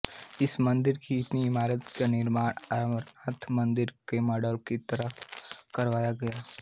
इस मंदिर की इमारत का निर्माण अमरनाथ मंदिर के मॉडल की तरह करवाया गया है